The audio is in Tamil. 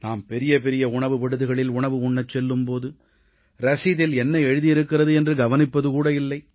நாம் பெரிய பெரிய உணவு விடுதிகளில் உணவு உண்ணச் செல்லும் போது ரசீதில் என்ன எழுதி இருக்கிறது என்று கவனிப்பது கூட இல்லை